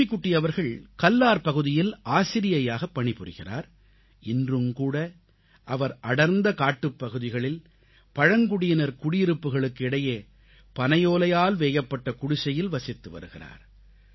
லக்ஷ்மிகுட்டி அவர்கள் கல்லார் பகுதியில் ஆசிரியையாகப் பணிபுரிகிறார் இன்றும்கூட அவர் அடர்ந்த காட்டுப்பகுதிகளில் பழங்குடியினர் குடியிருப்புகளுக்கு இடையே பனையோலையால் வேயப்பட்ட குடிசையில் வசித்து வருகிறார்